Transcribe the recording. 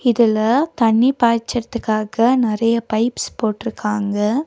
இதுல தண்ணி பாய்ச்சிறத்துக்காக நறைய பைப்ஸ் போட்ருக்காங்க.